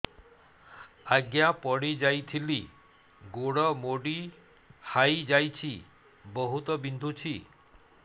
ଆଜ୍ଞା ପଡିଯାଇଥିଲି ଗୋଡ଼ ମୋଡ଼ି ହାଇଯାଇଛି ବହୁତ ବିନ୍ଧୁଛି